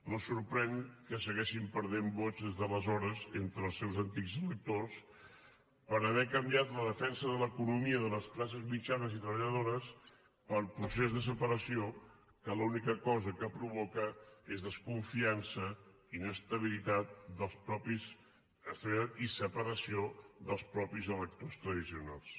no sorprèn que segueixin perdent vots des d’aleshores entre els seus antics electors per haver canviat la defensa de l’economia de les classes mitjanes i treballadores pel procés de separació que l’única cosa que provoca és desconfiança inestabilitat i separació dels propis electors tradicionals